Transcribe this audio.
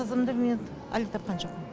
қызымды мен әлі тапқан жоқпын